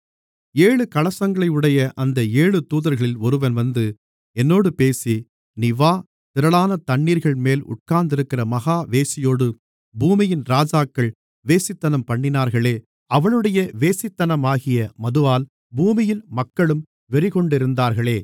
ஏழு கலசங்களையுடைய அந்த ஏழு தூதர்களில் ஒருவன் வந்து என்னோடு பேசி நீ வா திரளான தண்ணீர்கள்மேல் உட்கார்ந்திருக்கிற மகா வேசியோடு பூமியின் ராஜாக்கள் வேசித்தனம்பண்ணினார்களே அவளுடைய வேசித்தனமாகிய மதுவால் பூமியின் மக்களும் வெறிகொண்டிருந்தார்களே